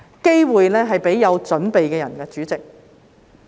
機會是給有準備的人，主席。